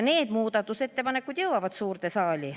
Need muudatusettepanekud jõuavad suurde saali.